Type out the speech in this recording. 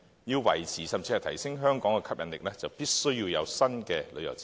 要維持甚至提升香港的吸引力，就必須有新的旅遊設施。